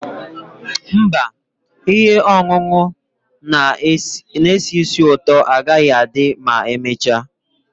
Mba, ihe ọṅụṅụ na-esi ísì ụtọ agaghị adị ma emechaa.